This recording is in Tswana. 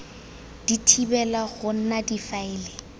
di thibela go nna difaele